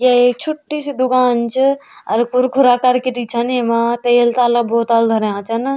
या एक छोटी सी दुकान च अर कुरकरा करकीरी छन येमा तेल ताला बोतल धर्यां छन।